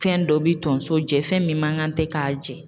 Fɛn dɔ bi tonso jɛn, fɛn min man kan tɛ k'a jɛn.